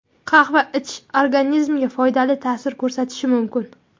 Qahva ichish organizmga foydali ta’sir ko‘rsatishi mumkin.